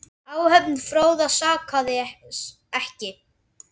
Áhöfn Fróða sakaði ekki.